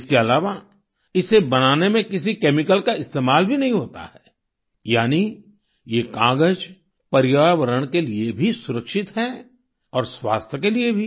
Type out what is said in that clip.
इसके अलावा इसे बनाने में किसी केमिकल का इस्तेमाल भी नहीं होता है यानी ये कागज पर्यावरण के लिए भी सुरक्षित है और स्वास्थ्य के लिए भी